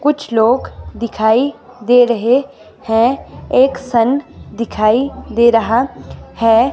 कुछ लोग दिखाई दे रहे हैं एक सन दिखाई दे रहा है।